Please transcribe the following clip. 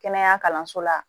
Kɛnɛya kalanso la